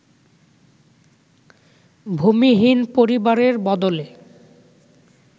ভূমিহীন পরিবারের বদলে